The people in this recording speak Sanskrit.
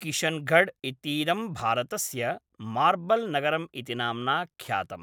किशनगढ़् इतीदं भारतस्य मार्बल् नगरम् इति नाम्ना ख्यातम्।